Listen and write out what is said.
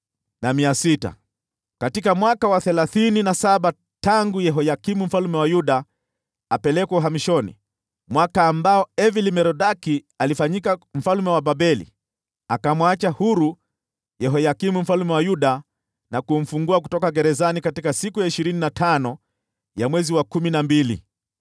Katika mwaka wa thelathini na saba tangu Yehoyakini mfalme wa Yuda apelekwe uhamishoni, katika mwaka ule ambao Evil-Merodaki alifanyika mfalme wa Babeli, alimwacha huru Yehoyakini mfalme wa Yuda, na kumfungua kutoka gerezani siku ya ishirini na tano ya mwezi wa kumi na mbili.